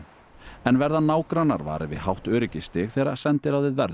en verða nágrannar varir við hátt öryggisstig þegar sendiráðið verður